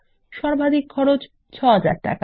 সর্বাধিক খরচ ৬০০০ টাকা